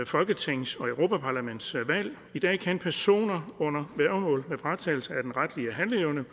folketings og europaparlamentsvalg i dag kan personer under værgemål med fratagelse af den retlige handleevne